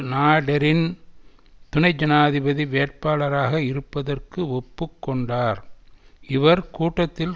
நாடெரின் துணை ஜனாதிபதி வேட்பாளராக இருப்பதற்கு ஒப்பு கொண்டார் இவர் கூட்டத்தில்